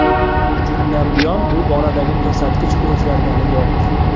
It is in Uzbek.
Uch kundan buyon bu boradagi ko‘rsatkich o‘zgargani yo‘q.